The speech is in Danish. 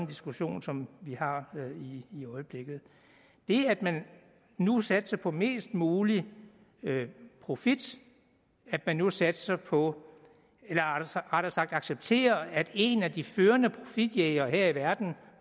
diskussion som vi har i øjeblikket det at man nu satser på mest mulig profit at man nu satser på eller rettere sagt accepterer at en af de førende profitjægere her i verden